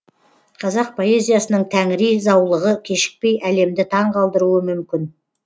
қазақ поэзиясының тәңіри заулығы кешікпей әлемді таңғалдыруы мүмкін